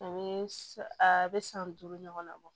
A bɛ a bɛ san duuru ɲɔgɔnna bɔ